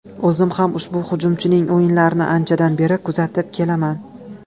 O‘zim ham ushbu hujumchining o‘yinlarini anchadan beri kuzatib kelaman.